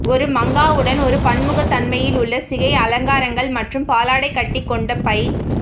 ஒரு மங்காவுடன் ஒரு பன்முகத்தன்மையிலுள்ள சிகை அலங்காரங்கள் மற்றும் பாலாடைக்கட்டி கொண்ட பை